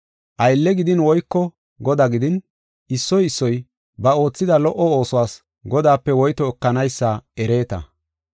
Aylle gidin woyko godaa gidin issoy issoy ba oothida lo77o oosuwas Godaape woyto ekanaysa ereeta.